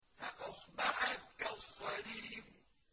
فَأَصْبَحَتْ كَالصَّرِيمِ